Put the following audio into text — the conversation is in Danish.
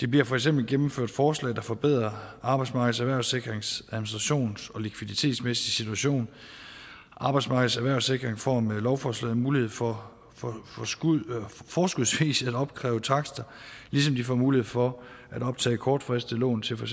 bliver for eksempel gennemført forslag der forbedrer arbejdsmarkedets erhvervssikrings administrations og likviditetsmæssige situation arbejdsmarkedets erhvervssikring får med lovforslaget mulighed for for forskudsvis at opkræve takster ligesom de får mulighed for at optage kortfristede lån til for